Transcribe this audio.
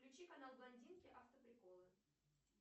включи канал блондинки автоприколы